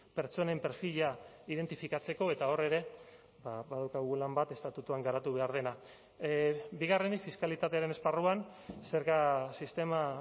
pertsonen perfila identifikatzeko eta hor ere badaukagu lan bat estatutuan garatu behar dena bigarrenik fiskalitatearen esparruan zerga sistema